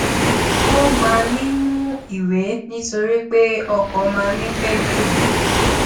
ó máa ń mú ìwé nítorí pé ọkọ máa ń pẹ ju